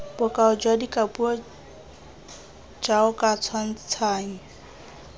bokao jwa dikapuo jaoka tshwantshanyo